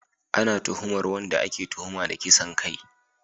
Ana tuhumar wanda ake tuhuma da kisan kai